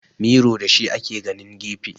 Miro da shi ake ganin gefe